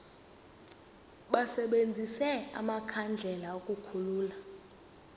basebenzise amakhandlela ukukhulula